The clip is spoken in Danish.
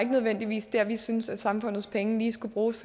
nødvendigvis det vi synes samfundets penge lige skulle bruges